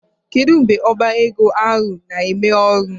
Kedụ mgbe ọbá égo ahụ na emeghe ọrụ?